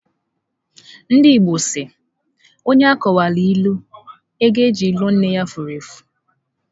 Ndị Igbo si, onye a kọwara ịlụ, ego eji lụọ nne ya fụrụ efu.